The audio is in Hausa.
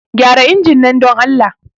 Gyara injin nan, don Allah.